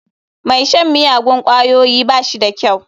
Mai shan miyagun ƙwayoyi ba shi da kyau.